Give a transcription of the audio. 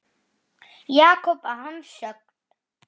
Jakob að hans sögn.